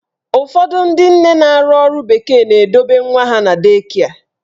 Ụfọdụ ndị nne na-arụ ọrụ bekee na-edobe nwa ha na dei kịe.